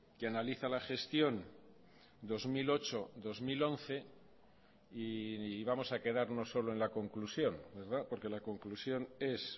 que analiza la gestión dos mil ocho dos mil once y vamos a quedarnos solo en la conclusión porque la conclusión es